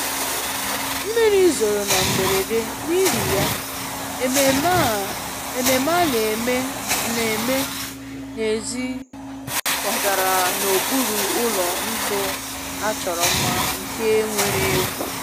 mmiri zoro na mberede, n'ihi ya, ememe a na-eme a na-eme n'èzí kwagara n'okpuru ụlọ ntu a chọrọ mma nke nwere egwu